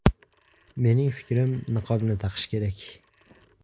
Mening fikrim, niqobni taqish kerak.